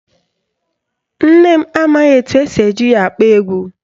Nne m amaghị etu esi eji ya akpọ egwu